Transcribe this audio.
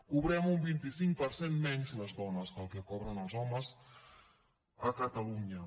cobrem un vint cinc per cent menys les dones que el que cobren els homes a catalunya